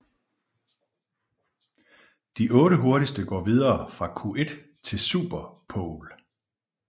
De 8 hurtigste går videre fra Q1 til Super pole